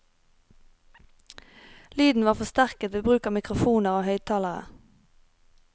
Lyden var forsterket ved bruk av mikrofoner og høyttalere.